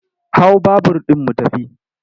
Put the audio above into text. Hau babur ɗin mu tafi!